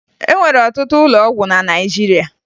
E nwere ọtụtụ ụlọ ọgwụ na Naịjirịa